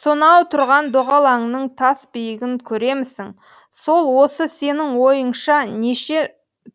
сонау тұрған доғалаңның тас биігін көремісің сол осы сенің ойыңша неше